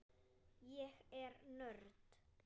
Ég er nörd.